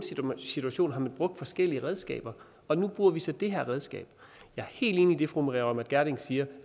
situationer har man brugt forskellige redskaber og nu bruger vi så det her redskab jeg er helt enig i det fru maria reumert gjerding siger